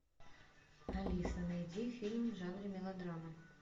алиса найди фильм в жанре мелодрама